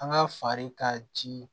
An ka fali ka ji